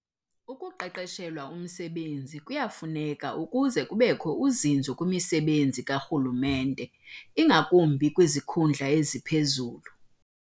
Ukuqeqeshelwa umsebenzi kuyafuneka ukuze kubekho uzinzo kwimisebenzi karhulumente, ingakumbi kwizikhundla eziphezulu.